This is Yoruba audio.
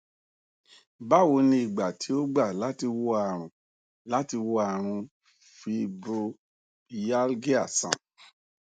báwo ni ìgbà tí ó gba láti wò àrùn láti wò àrùn fibromyalgia sàn